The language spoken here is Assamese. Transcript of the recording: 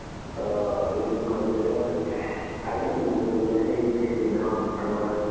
অ সি লগতে আছে আহিবা নেকি college লে সেই সেইদিনাখন তুমাৰ